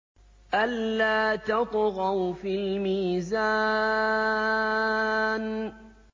أَلَّا تَطْغَوْا فِي الْمِيزَانِ